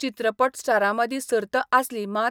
चित्रपट स्टारामंदी सर्त आसली मात